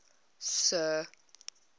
sir